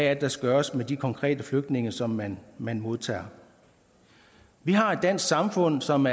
er der skal gøres med de konkrete flygtninge som man man modtager vi har et dansk samfund som